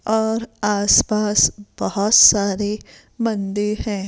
और आस पास बहोत सारे मंदिर है।